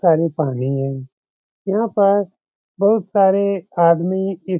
सारे पानी है। यहाँ पर बहुत सारे आदमी इस --